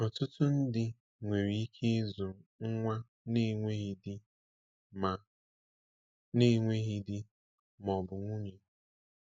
Ọtụtụ ndị nwere ike ịzụ nwa na-enweghị di ma na-enweghị di ma ọ bụ nwunye.